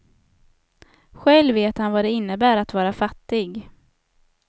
Själv vet han vad det innebär att vara fattig.